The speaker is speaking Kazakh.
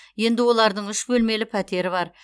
енді олардың үш бөлмелі пәтері бар